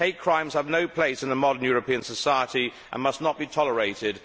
Hate crimes have no place in a modern European society and must not be tolerated.